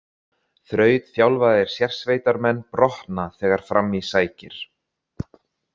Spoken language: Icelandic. Þrautþjálfaðir sérsveitarmenn brotna þegar fram í sækir.